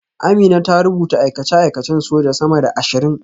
Amina ta rubuta aikace-aikacen soja sama da ashirin